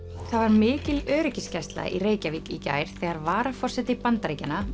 mikil öryggisgæsla var í Reykjavík í gær þegar varaforseti Bandaríkjanna